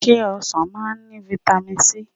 se osan maa n ni vitami sii?